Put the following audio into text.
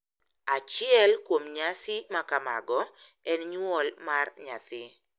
Achiel kuom nyasi ma kamago en nyuol mar nyathi, .